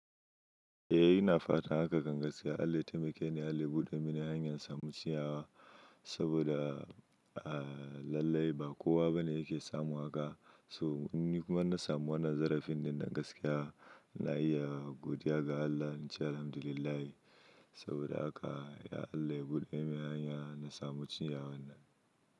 Eh, ina fatan haka kan gaskiya. Allah ya taimake ni, Allah ya buɗe mini hanyar samun ciyawa saboda lallai ba kowa bane yake samu haka. So in ni kuma na samu wannan zarafin din nan gaskiya, ina iya godiya ga Allah, na ce Alhamdulillahi saboda haka ya Allah ya buɗe mini hanya na samu ciyawan nan.